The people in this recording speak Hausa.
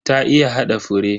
Ta iya hada fure.